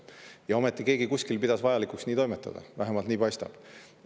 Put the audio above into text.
Ja ometi keegi kuskil pidas vajalikuks nii toimetada, vähemalt nii paistab.